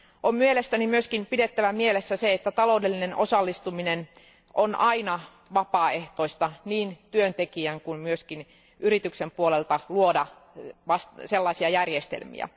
On mielestäni myös pidettävä mielessä se, että taloudellinen osallistuminen on aina vapaaehtoista niin työntekijän puolelta kuin myös yrityksen puolelta luoda tällaisia järjestelmiä.